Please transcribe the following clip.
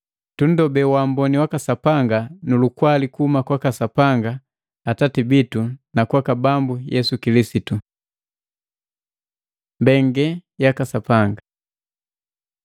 Tunndobee waamboni waka Sapanga nu lukwali kuhuma kwaka Sapanga Atati bitu na kwaka Bambu Yesu Kilisitu. Mbengelelu jaka Sapanga